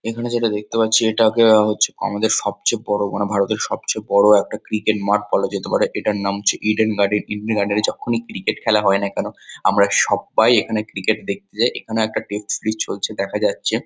এখানে যেটা দেখতে পাচ্ছি এটাকে হচ্ছে আমাদের সবচেয়ে বড়ো মানে ভারতের সবচেয়ে বড়ো একটা ক্রিকেট মাঠ বলা যেতে পারে। এটার নাম হচ্ছে ইডেন গার্ডেন । ইডেন গার্ডেন -এ যখনই ক্রিকেট খেলা হয় না কেন আমরা সব্বাই এখানে ক্রিকেট দেখতে যাই। এখানেও একটা টেস্ট সিরিজ চলছে দেখা যাচ্ছে ।